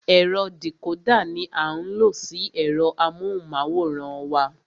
Ẹ̀rọ dìcódà ní a ń lo sí ẹ̀rọ amóhùnmáwòrán wa.